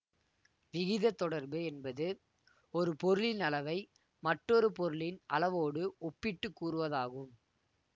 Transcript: விகிதத்தொடர்பு என்பது ஒரு பொருளின் அளவை மற்றொரு பொருளின் அளவோடு ஒப்பிட்டு கூறுவதாகும்